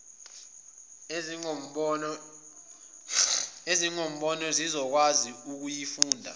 ezingaboni zizokwazi ukuyifunda